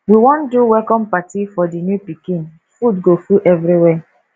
we wan do welcome party for di new pikin food go full everywhere